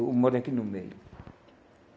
Eu moro aqui no meio.